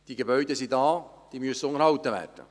Diese Gebäude sind da, und sie müssen unterhalten werden.